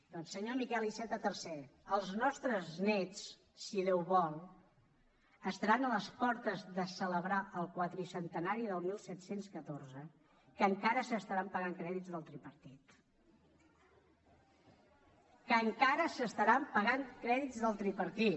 doncs senyor miquel iceta tercer els nostres néts si déu vol estaran a les portes de celebrar el quadricentenari del disset deu quatre que encara s’estaran pagant crèdits del tripartit que encara s’estaran pagant crèdits del tripartit